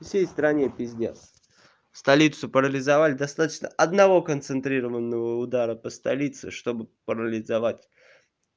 всей стране пиздец столицу парализовали достаточно одного концентрированного удара по столице чтобы парализовать